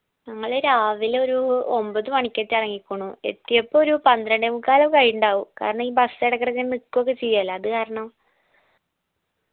ഞങ്ങള് രാവിലൊരു ഒമ്പത് മണിക്കേറ്റോ എറങ്ങീക്കണു എത്തിയപ്പോ ഒരു പന്ത്രണ്ടേ മുക്കാലൊക്കെ ആയിണ്ടാവും കാരണം ഈ bus ഇടക്കിടക്കെ നിക്കു ഒക്കെ ചെയ്യുവല്ലോ അത് കാരണം